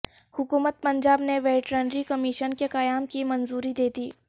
حکومت پنجاب نے veterinary commission کے قیام کی منظوری دیدی